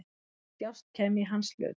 Hvaða djásn kæmi í hans hlut?